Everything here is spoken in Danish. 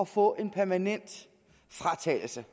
få en permanent fratagelse